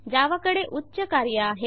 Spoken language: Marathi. जावा कडे उच्च कार्य आहे